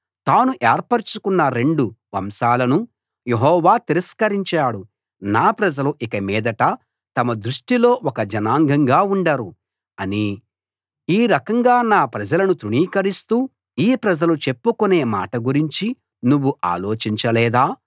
తాను ఏర్పరచుకున్న రెండు వంశాలను యెహోవా తిరస్కరించాడు నా ప్రజలు ఇకమీదట తమ దృష్టిలో ఒక జనాంగంగా ఉండరు అని ఈ రకంగా నా ప్రజలను తృణీకరిస్తూ ఈ ప్రజలు చెప్పుకునే మాట గురించి నువ్వు ఆలోచించలేదా